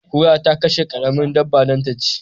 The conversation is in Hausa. Kura ta kashe karamar dabba dan ta ci